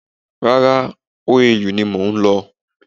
Rárá, OAU ni mòún lọ